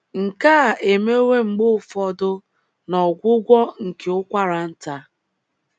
Nke a emewo mgbe ụfọdụ n’ọgwụgwọ nke ụkwara nta.